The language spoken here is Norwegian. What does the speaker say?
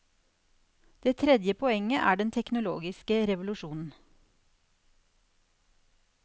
Det tredje poenget er den teknologiske revolusjonen.